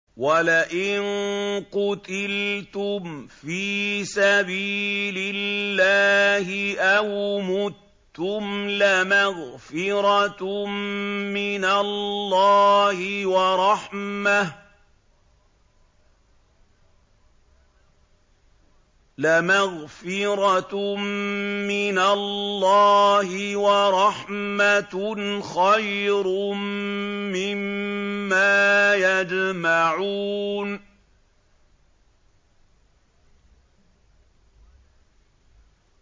وَلَئِن قُتِلْتُمْ فِي سَبِيلِ اللَّهِ أَوْ مُتُّمْ لَمَغْفِرَةٌ مِّنَ اللَّهِ وَرَحْمَةٌ خَيْرٌ مِّمَّا يَجْمَعُونَ